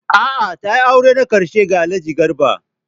A'a!, ta auri na ƙarshe ga Alhaji Garba.